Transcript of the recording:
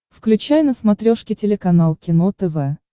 включай на смотрешке телеканал кино тв